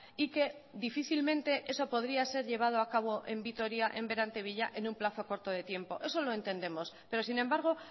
y que difícilmente eso podría ser llevado a cabo en vitoria en berantevilla en un plazo corto de tiempo eso lo entendemos pero sin embargo